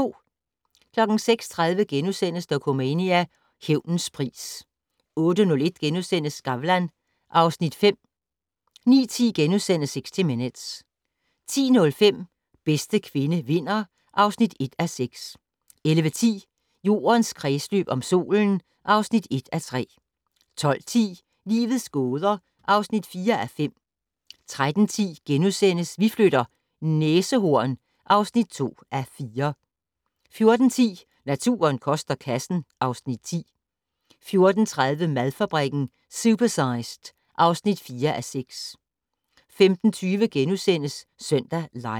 06:30: Dokumania: Hævnens pris * 08:01: Skavlan (Afs. 5)* 09:10: 60 Minutes * 10:05: Bedste kvinde vinder (1:6) 11:10: Jordens kredsløb om solen (1:3) 12:10: Livets gåder (4:5) 13:10: Vi flytter - næsehorn (2:4)* 14:10: Naturen koster kassen (Afs. 10) 14:30: Madfabrikken - Supersized (4:6) 15:20: Søndag Live *